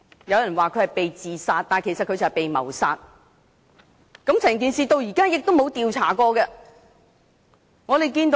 有人說他是"被自殺"，但他其實是"被謀殺"，整件事至今亦沒有進行調查。